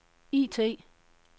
IT